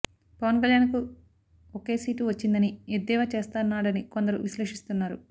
పవన్ కళ్యాణ్ కు ఒకే సీటు వచ్చిందని ఎద్దేవా చేస్తన్నాడని కొందరు విశ్లేషిస్తున్నారు